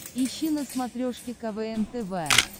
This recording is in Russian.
ищи на смотрешке квн тв